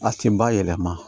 A tin ba yɛlɛma